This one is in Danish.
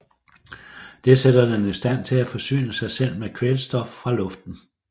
Det sætter den i stand til at forsyne sig med kvælstof fra luften